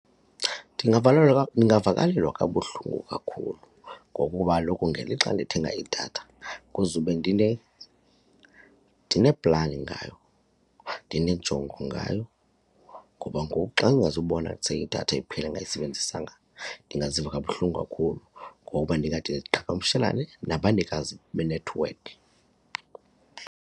Ndingavakalelwa, ndingavakalelwa kabuhlungu kakhulu ngokuba kaloku ngelixa ndithenga idatha kuzube ndine ndine-plan ngayo ndineenjongo ngayo ngoba ngoku xa ndingazukubona kuse idatha iphela ndingayisebenzisanga ndingaziva kabuhlungu kakhulu ngoba ndingade ndiqhagamshelane nabanikazi benethiwekhi.